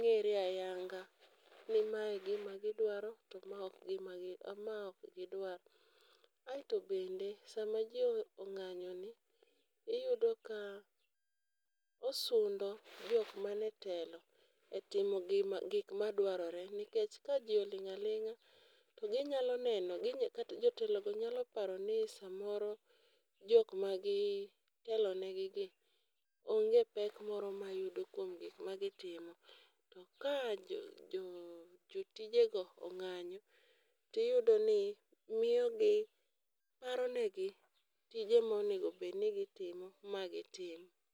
ng'ere ayanga ni ma e gima gidwaro to ma ok gima gid mae ok gidwar. Aeto bende sama jii ong'anyo ni iyudo ka osundo jok man e telo e timo gima gik madwarore nikech ka jii oling' aling'a to ginyalo neno kata jotelo go nyalo paro ni samoro jok ma gitelo negi gi onge pek moro mayudo kuom gik ma gitimo .To ka jo jo jotije go ong'anyo tiyudo ni miyo gi paro negi tije monego bed ni gitimo ma gitim.